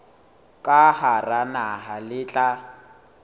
ka hara naha le tla